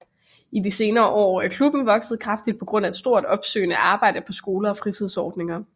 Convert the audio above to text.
I de senere år er klubben vokset kraftigt på grund af et stort opsøgende arbejde på skoler og fritidsordninger